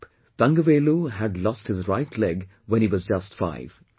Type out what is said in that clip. Thangavelu had lost his right leg when he was just 5